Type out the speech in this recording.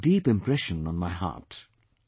They leave a deep impression on my heart